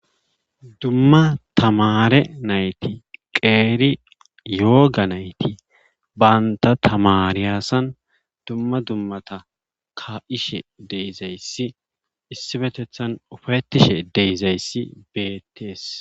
Dumma tamaare nayti qeeri yooga nayti bantta tamaariyason dumma dummata ka'ishe issipetethan ufaytishe ke'izayssi beetees.